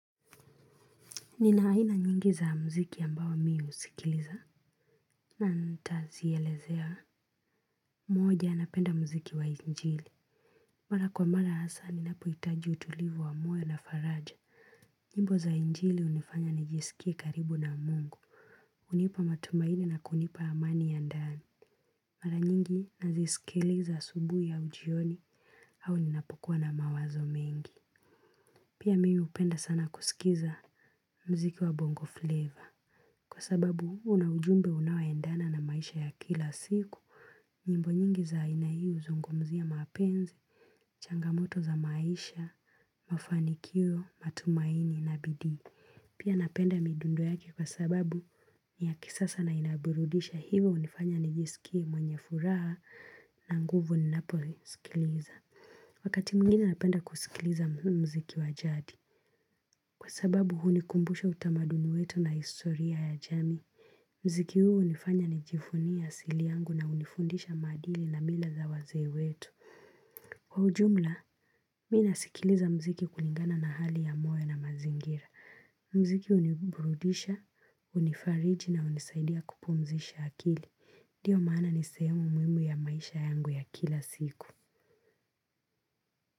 Nina aina nyingi za muziki ambao mimi husikiliza naam nitazielezea moja napenda muziki wa injili. Mara kwa mara hasa, ninapohitaji utulivu wa moyo na faraja. Nyimbo za injili hunifanya nijisikie karibu na mungu. Hunipa matumaini na kunipa amani ya ndani. Mara nyingi nazisikiliza asubuhi au jioni au ninapokuwa na mawazo mengi. Pia mimi hupenda sana kusikiza muziki wa bongo flavor. Kwa sababu huwa na ujumbe unaoendana na maisha ya kila siku. Nyimbo nyingi za aina hii huzungumzia mapenzi, changamoto za maisha, mafanikio, matumaini na bidii. Pia napenda midundo yake kwa sababu ni ya kisasa na inaburudisha hivyo hunifanya nijisikie mwenye furaha na nguvu ninapoisikiliza. Wakati mwingine napenda kusikiliza muziki wa jadi. Kwa sababu hunikumbusha utamaduni wetu na historia ya jamii. Muziki huo hunifanya nijivunie asili yangu na hunifundisha maadili na mila za wazee wetu. Kwa ujumla, mimi nasikiliza muziki kulingana na hali ya moyo na mazingira. Muziki huniburudisha, hunifariji na hunisaidia kupumzisha akili. Ndio maana nisehemu muhimu ya maisha yangu ya kila siku.